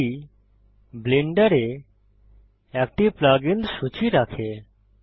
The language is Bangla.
এটি ব্লেন্ডারে একটি প্লাগ ইন্স সূচী রাখে